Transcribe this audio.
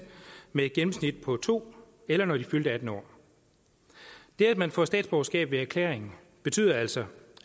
med et gennemsnit på to eller når de fyldte attende år det at man får statsborgerskab ved erklæring betyder altså